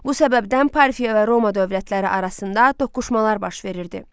Bu səbəbdən Parfiya və Roma dövlətləri arasında toqquşmalar baş verirdi.